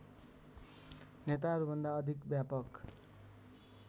नेताहरूभन्दा अधिक व्यापक